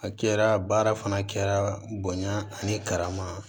A kɛra baara fana kɛra bonya ani karama